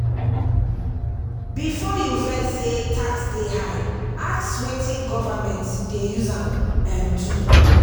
before you vex say tax dey high ask wetin government dey use am um do.